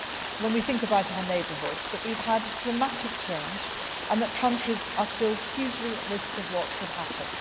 that. When we think about our neighbourhood, we know that we have had dramatic change and that countries are still hugely at risk from what could happen.